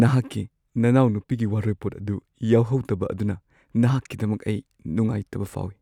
ꯅꯍꯥꯛꯀꯤ ꯅꯅꯥꯎꯅꯨꯄꯤꯒꯤ ꯋꯥꯔꯣꯏꯄꯣꯠ ꯑꯗꯨ ꯌꯥꯎꯍꯧꯗꯕ ꯑꯗꯨꯅ ꯅꯍꯥꯛꯀꯤꯗꯃꯛ ꯑꯩ ꯅꯨꯡꯉꯥꯏꯇꯕ ꯐꯥꯎꯏ꯫